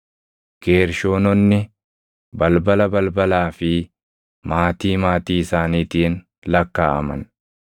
Geershoononni balbala balbalaa fi maatii maatii isaaniitiin lakkaaʼaman.